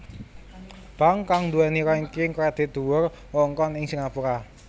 Bank kang nduwèni rangking kredit paling dhuwur wewengkon ing Singapura